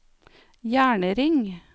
jernring